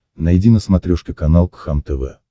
найди на смотрешке канал кхлм тв